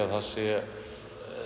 það séu